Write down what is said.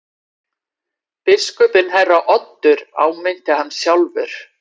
Biskupinn herra Oddur áminnti hann sjálfur.